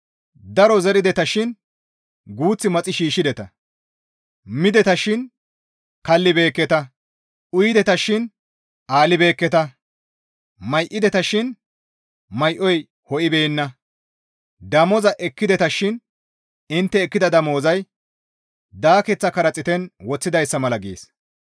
Daro zerideta shin guuth maxi shiishshideta. Mideta shin kallibeekketa; uyideta shin alibeekketa; may7ideta shin may7oy inttena ho7ibeenna; damoza ekkideta shin intte ekkida damozay daakeththa karaxiiten woththidayssa mala» gees.